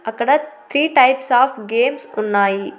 అక్కడ three types of games ఉన్నాయి.